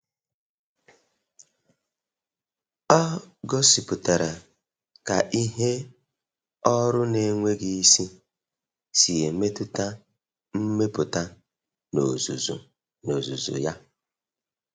Ọ gosipụtara ka ihe ọrụ na-enweghị isi si emetụta mmepụta n’ozuzu n’ozuzu ya.